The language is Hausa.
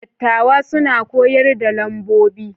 Dattawa suna koyar da lambobi.